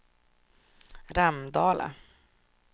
Ramdala